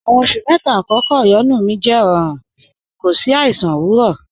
Àwọn àkọ̀kọ̀ oṣù̀ méta ọ̀yọ́nú mi jẹ́ rọ̀rún, kò sí àìsàn owurọ̀